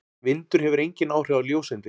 Vindur hefur engin áhrif á ljóseindir.